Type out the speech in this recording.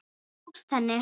Það tókst henni.